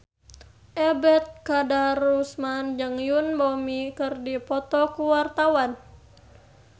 Ebet Kadarusman jeung Yoon Bomi keur dipoto ku wartawan